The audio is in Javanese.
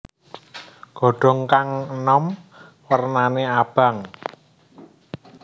Godhong kang enom wernane abang